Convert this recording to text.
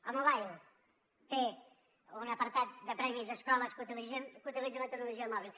el mobile té un apartat de premis a escoles que utilitzen la tecnologia mòbil